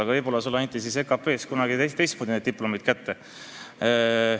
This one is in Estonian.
Aga võib-olla sulle anti EKP-s kunagi teistmoodi diplomid kätte.